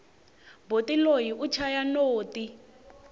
boti loyi u chaya noti